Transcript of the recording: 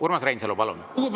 Urmas Reinsalu, palun!